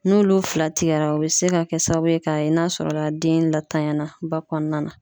N'olu fila tigɛra o bɛ se ka kɛ sababu ye ka ye n'a sɔrɔ la den latanya ba kɔnɔna na.